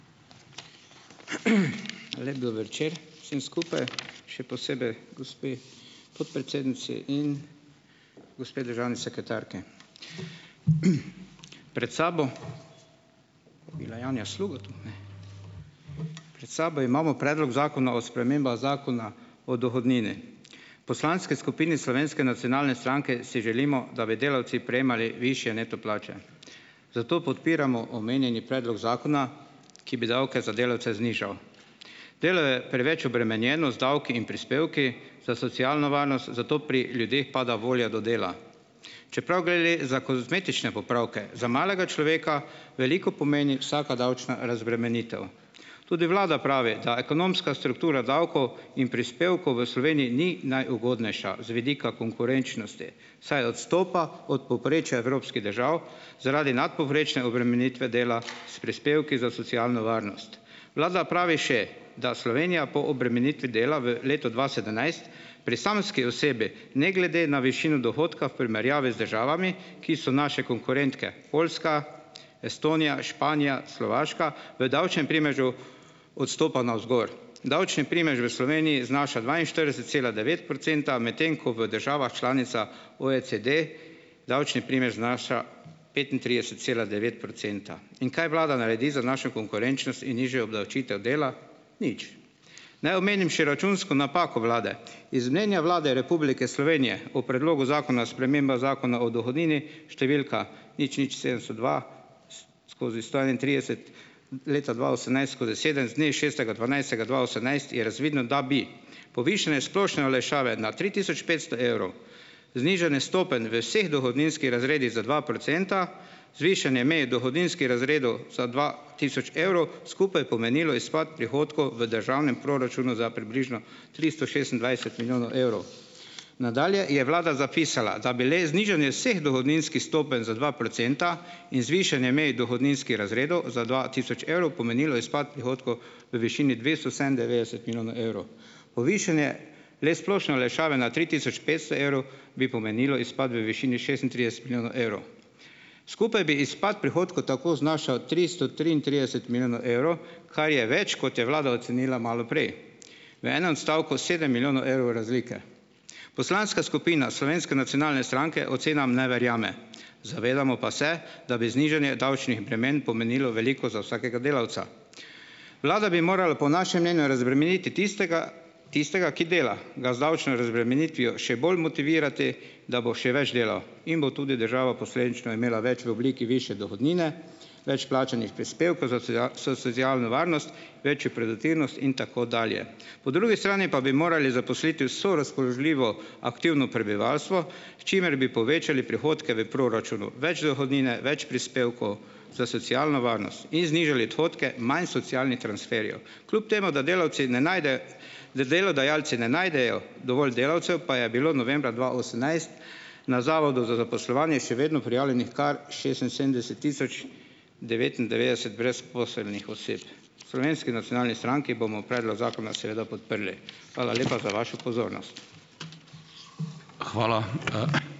Lep dober večer, vsem skupaj, še posebej gospe podpredsednici in gospe državni sekretarki! Pred sabo, bila Janja Sluga tu? Ne. Pred sabo imamo predlog zakona o spremembah Zakona o dohodnini. V poslanski skupini Slovenske nacionalne stranke si želimo, da bi delavci prejemali višje neto plače, zato podpiramo omenjeni predlog zakona, ki bi davke za delavce znižal. Delo je preveč obremenjeno z davki in prispevki sedaj socialno varnost, zato pri ljudeh pada volja do dela. Čeprav gre le za kozmetične popravke, za malega človeka veliko pomeni vsaka davčna razbremenitev. Tudi vlada pravi, da ekonomska struktura davkov in prispevkov v Sloveniji ni najugodnejša z vidika konkurenčnosti, saj odstopa od povprečja evropskih držav zaradi nadpovprečne obremenitve dela s prispevki za socialno varnost. Vlada pravi še, da Slovenija po obremenitvi dela v letu dva sedemnajst, pri samski osebi, ne glede na višino dohodka v primerjavi z državami, ki so naše konkurentke, Poljska, Estonija, Španija, Slovaška, v davčnem primežu odstopa navzgor. Davčni primež v Sloveniji znaša dvainštirideset cela devet procenta, medtem ko v državah članicah OECD davčni primež znaša petintrideset cela devet procenta. In kaj vlada naredi za našo konkurenčnost in nižjo obdavčitev dela? Nič. Naj omenim še računsko napako vlade. Iz mnenja Vlade Republike Slovenije, o Predlogu zakona o spremembah Zakona o dohodnini, številka nič nič sedemsto dva skozi sto enaintrideset, leta dva osemnajst skozi sedem z dne šestega dvanajstega dva osemnajst je razvidno, da bi povišanje splošne olajšave na tri tisoč petsto evrov, znižanje stopenj v vseh dohodninskih razredih za dva procenta, zvišanje meje dohodninskih razredov za dva tisoč evrov, skupaj pomenilo izpad prihodkov v državnem proračunu za približno tristo šestindvajset milijonov evrov. Nadalje je vlada zapisala, da bi le znižanje vseh dohodninskih stopenj za dva procenta in zvišanje mej dohodninskih razredov za dva tisoč evrov pomenilo izpad prihodkov v višini dvesto sedemindevetdeset milijonov evrov. Povišanje le splošne olajšave na tri tisoč petsto evrov bi pomenilo izpad v višini šestintrideset milijonov evrov. Skupaj bi izpad prihodkov tako znašal tristo triintrideset milijonov evrov, kar je več, kot je vlada ocenila malo prej. V enem stavku sedem milijonov evrov razlike. Poslanska skupina Slovenske nacionalne stranke ocenam ne verjame, zavedamo pa se, da bi znižanje davčnih bremen pomenilo veliko za vsakega delavca. Vlada bi morala po našem mnenju razbremeniti tistega, tistega, ki dela, ga z davčno razbremenitvijo še bolj motivirati, da bo še več delal, in bo tudi država posledično imela več v obliki višje dohodnine, več plačanih prispevkov za svojo socialno varnost, večjo produktivnost in tako dalje. Po drugi strani pa bi morali zaposliti vse razpoložljivo aktivno prebivalstvo, s čimer bi povečali prihodke v proračunu. Več dohodnine, več prispevkov za socialno varnost in znižali odhodke, manj socialnih transferjev. Kljub temu da delavci ne najdejo, da delodajalci ne najdejo dovolj delavcev, pa je bilo novembra dva osemnajst na Zavodu za zaposlovanje še vedno prijavljenih kar šestinsedemdeset tisoč devetindevetdeset brezposelnih oseb. V Slovenski nacionalni stranki bomo predlog zakona seveda podprli. Hvala lepa za vašo pozornost.